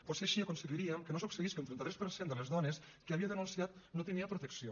potser així aconseguiríem que no succeís que un trenta tres per cent de les dones que havia denunciat no tenia protecció